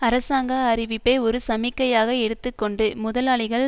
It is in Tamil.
அரசாங்க அறிவிப்பை ஒரு சமிக்கையாக எடுத்து கொண்டு முதலாளிகள்